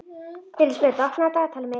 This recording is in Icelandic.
Elísabet, opnaðu dagatalið mitt.